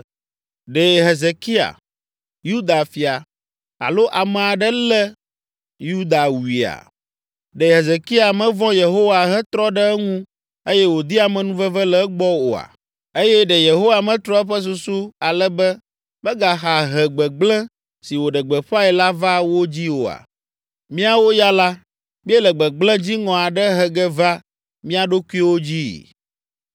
“Ɖe Hezekia, Yuda fia, alo ame aɖe le Yuda wuia? Ɖe Hezekia mevɔ̃ Yehowa hetrɔ ɖe eŋu eye wòdi amenuveve le egbɔ oa? Eye ɖe Yehowa metrɔ eƒe susu ale be megaxa he gbegblẽ si wòɖe gbeƒãe la va wo dzii oa? Míawo ya la míele gbegblẽ dziŋɔ aɖe he ge va mía ɖokuiwo dzii!”